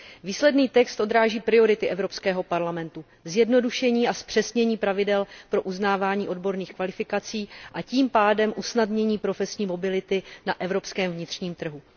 Výsledný text odráží priority Evropského parlamentu, zjednodušení a zpřesnění pravidel pro uznávání odborných kvalifikací a tím pádem usnadnění profesní mobility na evropském vnitřním trhu.